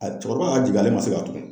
A cɛkɔrɔba y'a jigin ale ma se ka tugun